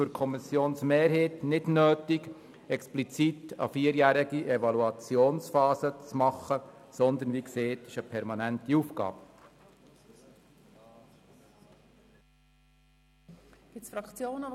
Für die Kommissionsmehrheit ist es deshalb nicht nötig, eine vierjährige Evaluationsphase vorzusehen, da es sich um eine permanente Aufgabe handelt.